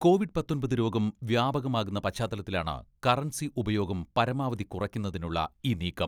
Covid പത്തൊമ്പത് രോഗം വ്യാപകമാകുന്ന പശ്ചാത്തലത്തിലാണ് കറൻസി ഉപയോഗം പരമാവധി കുറയ്ക്കുന്നതിനുള്ള ഈ നീക്കം.